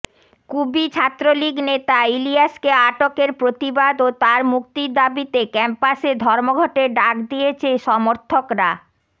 কুবি ছাত্রলীগ নেতা ইলিয়াসকে আটকের প্রতিবাদ ও তার মুক্তির দাবিতে ক্যাম্পাসে ধর্মঘটের ডাক দিয়েছে সমর্থকরা